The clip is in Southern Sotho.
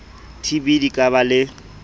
tb di ka ba le